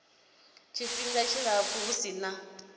tshifhinga tshilapfu hu si na